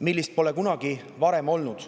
millist pole kunagi varem olnud.